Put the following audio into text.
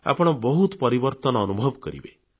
ଆପଣ ବହୁତ ପରିବର୍ତ୍ତନ ଅନୁଭବ କରିବେ